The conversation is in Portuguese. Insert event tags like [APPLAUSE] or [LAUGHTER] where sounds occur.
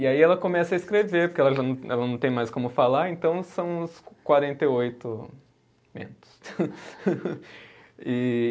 E aí ela começa a escrever, porque ela já não, ela não tem mais como falar, então são os quarenta e oito mentos [LAUGHS] E